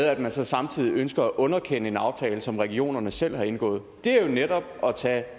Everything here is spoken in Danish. at man så samtidig ønsker at underkende en aftale som regionerne selv har indgået det er jo netop at tage